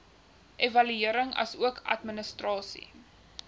evaluering asook administrasie